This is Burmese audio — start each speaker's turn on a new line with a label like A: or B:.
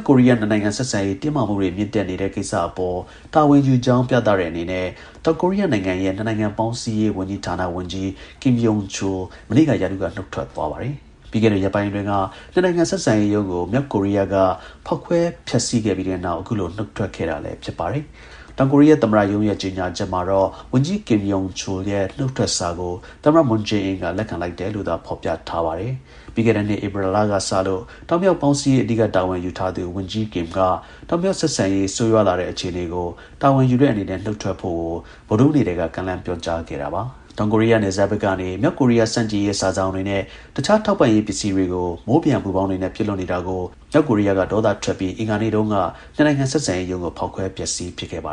A: ကိုရီးယား နှစ်နိုင်ငံ ဆက်ဆံရေးတင်းမာမှုတွေမြင့်တက်နေတဲ့ကိစ္စအပေါ် တာဝန်ယူကြောင်း ပြသတဲ့ အနေနဲ့ တောင်ကိုရီးယားနိုင်ငံရဲ့ နှစ်နိုင်ငံပေါင်း စည်းရေးဝန်ကြီးဌာန ဝန်ကြီး Kim Yeon-chul မနေ့က ရာထူးက နှုတ်ထွက်သွားပါတယ်။ ပြီးခဲ့တဲ့ ရက်ပိုင်းအတွင်းက နှစ်နိုင်ငံ ဆက်ဆံရေးရုံးကို မြောက်ကိုရီးယားက ဖေါက်ခွဲဖျက်ဆီးခဲ့ပြီးတဲ့နောက် အခုလို နှုတ်ထွက်ခဲ့တာ လည်း ဖြစ်ပါတယ်။ တောင်ကိုရီးယား သမ္မတရုံးရဲ့ ထုတ်ပြန်ကြေညာချက်မှာတော့ ဝန်ကြီး Kim Yeon-chul ရဲ့နှုတ်ထွက်စာကို သမ္မတ Moon Jae-in က လက်ခံလိုက်တယ်လို့သာ ဖော်ပြထားပါတယ်။ ပြီးခဲ့တဲ့နှစ် ဧပြီကစလို့ တောင်-မြောက် ပေါင်းစည်းရေး အဓိက တာဝန်ယူထားသူ ဝန်ကြီး Kim က တောင်-မြောက် ဆက်ဆံရေး ဆိုးရွားလာတဲ့ အခြေအနေကို တာဝန်ယူတဲ့အနေနဲ့ နှုတ်ထွက်ဖို့ကို ဗုဒ္ဓဟူးနေ့ကတည်းက ကမ်းလှမ်းပြောကြားထားခဲ့တာပါ။ တောင်ကိုရီးယားနယ်စပ်ဘက်ကနေ မြောက်ကိုရီးယား ဆန့်ကျင်ရေး စာစောင်တွေနဲ့ တခြား ထောက်ပံ့ရေးပစ္စည်းတွေကို မိုးပျံပူပေါင်းတွေနဲ့ပစ်လွှတ်နေတာကို မြောက်ကိုရီးယားက ဒေါသထွက်ပြီး အင်္ဂါနေ့တုန်းက နှစ်နိုင်ငံဆက်ဆံရေးရုံး ကိုဖေါက်ခွဲ ဖျက်ဆီးပစ်ခဲ့တာပါ